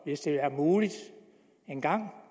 hvis det engang